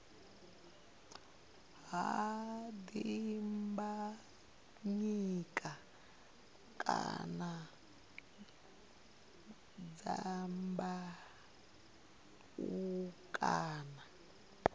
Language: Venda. ha dimbanyika kana dyambeu kana